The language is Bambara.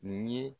Nin ye